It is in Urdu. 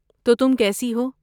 تو، تم کیسی ہو؟